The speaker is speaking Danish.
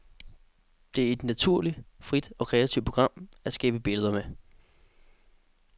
Det er et naturligt, frit og kreativt program at skabe billeder med.